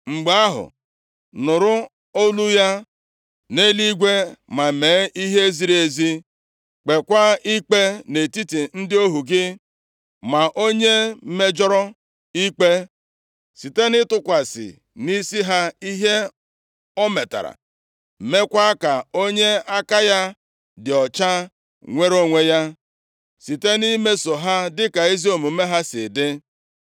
Mgbe ahụ, nụrụ olu ya nʼeluigwe ma mee ihe ziri ezi. Kpeekwa ikpe nʼetiti ndị ohu gị, maa onye mejọrọ ikpe site nʼịtụkwasị nʼisi ha ihe o metara, meekwa ka onye aka ya dị ọcha nwere onwe ya, site nʼimeso ha dịka ezi omume ha si dị.